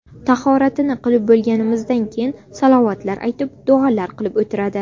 Tahoratini qilib bo‘lganimizdan keyin salovatlar aytib, duolar qilib o‘tiradi.